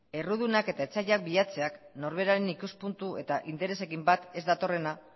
errudunak eta etsaiak bilatzeak norberaren ikuspuntu eta interesekin bat ez datorrena